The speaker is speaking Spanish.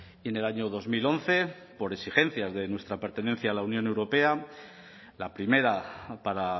y en el año dos mil once por exigencias de nuestra pertenencia a la unión europea la primera para